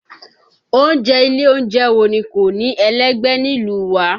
Oúnjẹ ilé oúnjẹ wo ni kò ní ẹlẹ́gbẹ́ nílùú wa?